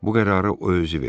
Bu qərarı o özü verib.